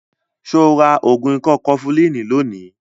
Ṣo ra ògùn ikọ́ kọfulínì lónìí?